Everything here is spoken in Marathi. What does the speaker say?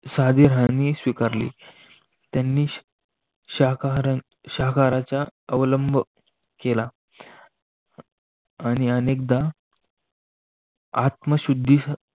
साध स्वीकारली, त्यांनी शाकाहारी शाकाहाराच्या अवलंब केला. आणि अनेकदा आत्मशुद्धी